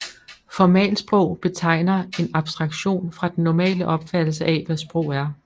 Formalsprog betegner en abstraktion fra den normale opfattelse af hvad sprog er